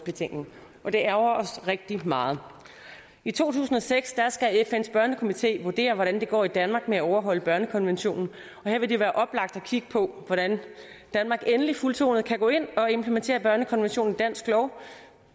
betænkning det ærgrer os rigtig meget i to tusind og seks skal fns børnekomité vurdere hvordan det går i danmark med at overholde børnekonventionen og her vil det være oplagt at kigge på hvordan danmark endelig fuldtonet kan gå ind og implementere børnekonventionen i dansk lov